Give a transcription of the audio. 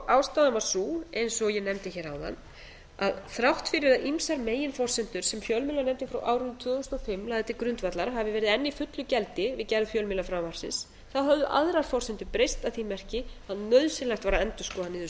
ástæðan var sú eins og ég nefndi hér áðan að þrátt fyrir að ýmsar meginforsendur sem fjölmiðlanefndin frá árinu tvö þúsund og fimm lagði til grundvallar hafi verið enn í fullu gildi við gerð fjölmiðlafrumvarpsins höfðu aðrar forsendur breyst að því marki að nauðsynlegt var að endurskoða niðurstöðurnar